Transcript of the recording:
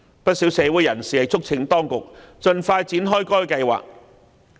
不少社會人士促請當局盡快展開該計劃。